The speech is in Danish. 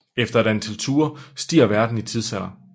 Efter et antal ture stiger verden i tidsalder